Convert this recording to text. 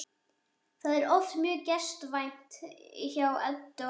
Það er oft mjög gestkvæmt hjá Eddu og Hemma.